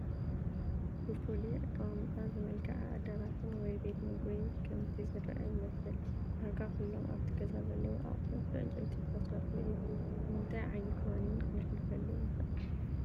ብፍሉይ ኣቀማምጣ ዝመልከዐ ኣዳራሽን ወይ ቤት ምግቢ ከምቲ ዝረአ ይመስል፡፡ ዳርጋ ኩሎም ኣብቲ ገዛ ዘለው ኣቑሑት ብዕጨይቲ ዝተሰርሑ እዮም፡፡ ንምንታይ ዓይነት ዋኒን ክነሕልፈሉ ንኽእል?